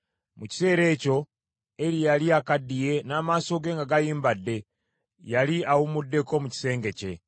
Mu kiseera ekyo, Eri eyali akaddiye, n’amaaso ge nga gayimbadde, yali awumuddeko mu kisenge kye.